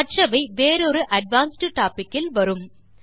மற்றவை வேறொரு advanced topic இல் வரும்